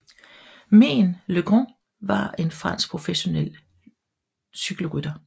Meen le Grand var en fransk professionel cykelrytter